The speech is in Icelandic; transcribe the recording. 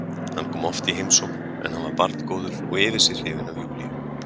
Hann kom oft í heimsókn en hann var barngóður og yfir sig hrifinn af Júlíu.